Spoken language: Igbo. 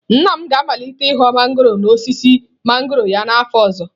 Nna m ga-amalite ị ghọ mangọrọ n'osisi mangọrọ ya n'afọ ọzọ.